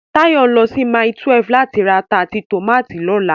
Táyọ̀ ń lọ sí Mile 12 láti ra ata àti tòmátì lọ́la